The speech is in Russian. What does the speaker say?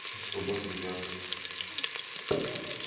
все солдаты взяты